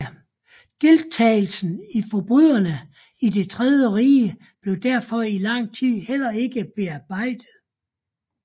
Deltagelsen i forbrydelserne i det tredje rige blev derfor i lang tid heller ikke bearbejdet